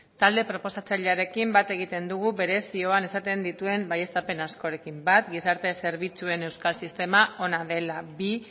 talde proposatzailearekin bat egiten dugu bere zioan esaten dituen baieztapen askorekin bat gizarte zerbitzuen euskal sistema ona dela bi